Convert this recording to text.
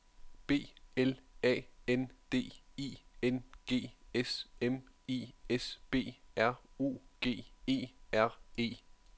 B L A N D I N G S M I S B R U G E R E